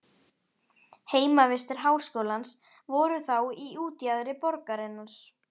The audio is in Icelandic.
Heimavistir háskólans voru þá í útjaðri borgarinnar.